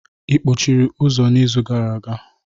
Ị kpọchiri ụzọ n'izu gara aga?